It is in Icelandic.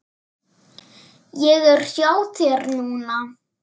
Ég er hjá þér núna.